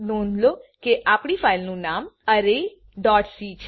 નોંધ લો આપણી ફાઈલ નું નામ arrayસી છે